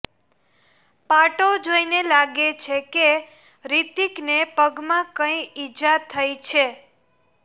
પાટો જોઈને લાગે છે કે રિતિકને પગમાં કંઈ ઈજા થઈ છે